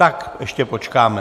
Tak ještě počkáme...